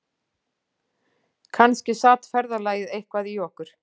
Kannski sat ferðalagið eitthvað í okkur